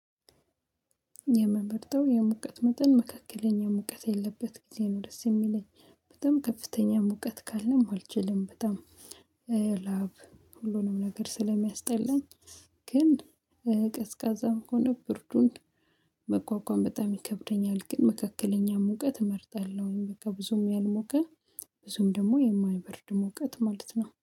የምመርጠው የሙቀት መጠን መካከለኛ ሙቀት ያለበት ጊዜ ነው ደስ የሚለኝ። በጣም ከፍተኛ ሙቀት ካለም አልችልም። በጣም ላብ ሁሉንም ነገር ስለሚያስጠላኝ፤ ግን ቀዝቃዛም ከሆነ ብርዱን መቋቋም በጣም ይከብደኛል። ግን መካከለኛ ሙቀት እመርጣለሁኝ። በቃ ብዙም ያልሞቀ፤ ብዙም ደግሞ የማይበርድ ሙቀት ማለት ነው።